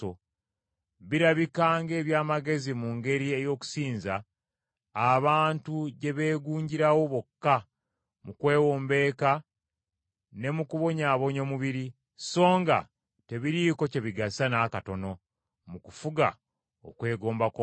Birabika ng’eby’amagezi mu ngeri ey’okusinza, abantu gye beegunjirawo bokka mu kwewombeeka ne mu kubonyaabonya omubiri, songa tebiriiko kye bigasa n’akatono mu kufuga okwegomba kw’omubiri.